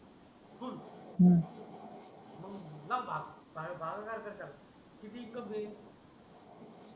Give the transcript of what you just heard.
लाव भात साडे बारा लाख द्या त्याला किती होतील बे